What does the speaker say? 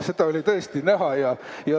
Seda oli tõesti näha.